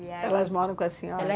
Elas moram com a senhora?